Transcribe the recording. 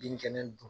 Bin kɛnɛ dun